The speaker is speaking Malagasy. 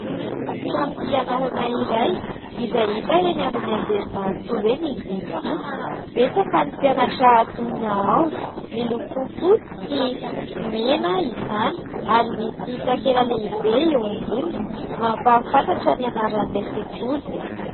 Trano fianarana iray izay hita eny amin'ny Anjerimanontolo eny izy ity, betsaka ny mpianatra antonona ao, miloko fotsy sy mena izany ary misy takela lehibe eo amboniny mampahafantatra ny anaran'ilay sekoly.